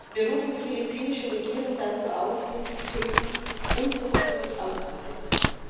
Wir rufen die philippinische Regierung dazu auf, dieses Töten unverzüglich auszusetzen.